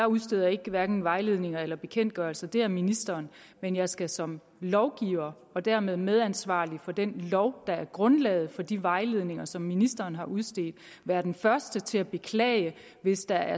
udsteder jeg hverken vejledninger eller bekendtgørelser det gør ministeren men jeg skal som lovgiver og dermed medansvarlig for den lov der er grundlaget for de vejledninger som ministeren har udstedt være den første til at beklage hvis der